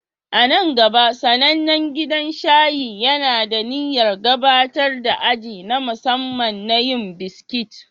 A nan gaba, sanannen gidan shayi yana da niyyar gabatar da aji na musamman na yin biskit